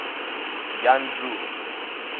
янджу